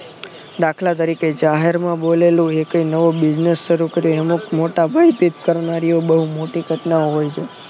દાખલા તરીકે જાહેર માં બોલેલું એકે નવો business શરુ કરેલો એને મોટા ભઈથી કરનારીઓ બહુ મોટી ઘટના હોય છે